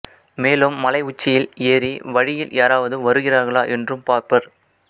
மேலும் மலை உச்சியில் ஏறி வழியில் யாராவது வருகிறார்களா என்றும் பார்ப்பர்